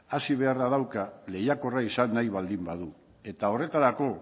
hazi beharra dauka lehiakorra izan nahi baldin badu eta horretarako